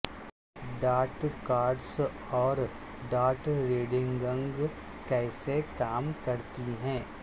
tarot cards اور tarot reading کیسے کام کرتی ہیں